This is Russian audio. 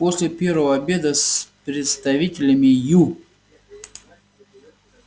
после первого обеда с представителями ю